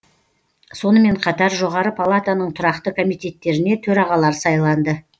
сонымен қатар жоғары палатаның тұрақты комитеттеріне төрағалар сайланды